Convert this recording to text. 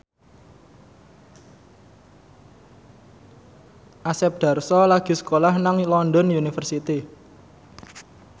Asep Darso lagi sekolah nang London University